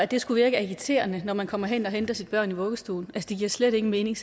det skulle virke agiterende når man kommer hen for at hente sine børn i vuggestuen giver slet ingen mening